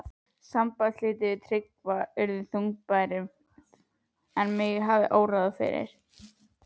Sambandsslitin við Tryggva urðu þungbærari en mig hafði órað fyrir.